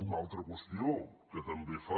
una altra qüestió que també fa